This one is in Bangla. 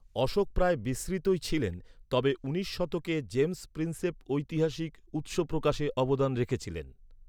অশোক প্রায় বিস্মৃতই ছিলেন। তবে উনিশ শতকে জেমস প্রিন্সেপ ঐতিহাসিক উত্স প্রকাশে অবদান রেখেছিলেন।